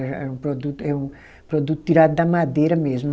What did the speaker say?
Era era um produto, é um produto tirado da madeira mesmo.